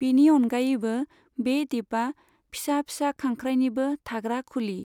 बिनि अनगायैबो, बे द्वीपआ फिसा फिसा खांख्राइनिबो थाग्रा खुलि।